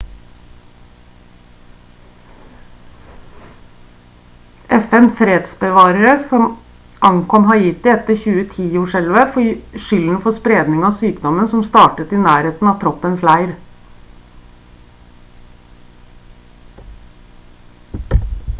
fn-fredsbevarere som ankom haiti etter 2010-jordskjelvet får skylden for spredning av sykdommen som startet i nærheten av troppens leir